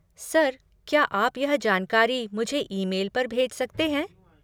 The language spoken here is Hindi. सर, क्या आप यह जानकारी मुझे ईमेल पर भेज सकते हैं?